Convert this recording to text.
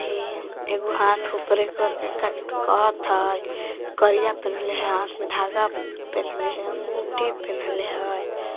ये एगो हाथ ऊपरे करके काची त कहत हय करीया पेन्हले हय हाथ में धागा पेन्हले हय अंगुठी पेन्हले हय।